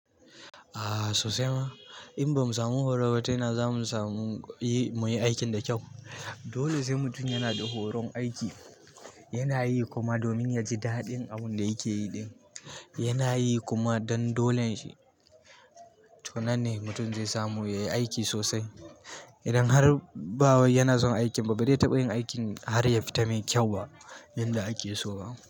A sosai ma, in ba mu samu horo ba, tana ina za mu samu yi muyi aikin da kyau. Dole sai mutum yana da horon aiki yana yi kuma domin yaji daɗin abun da yake yi ɗin yana yi kuma don dolen shi. To nan ne mutum zai samu yayi aiki sosai. Idan har bawai yana son aikin ba, ba zai taɓa yin aikin har yafita mai kyau ba yanda ake so ba.